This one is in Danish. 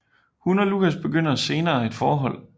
Hun og Lucas begynder senere et forhold